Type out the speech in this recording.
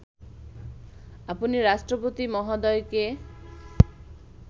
আপনি রাষ্ট্রপতি মহোদয়কে